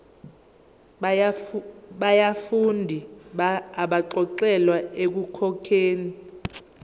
yabafundi abaxolelwa ekukhokheni